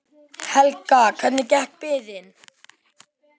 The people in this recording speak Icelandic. Helga: Hvernig gekk biðin?